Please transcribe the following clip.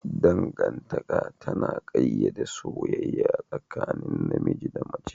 Dangantaka tana ƙayyade soyayya tsakanin namiji da mace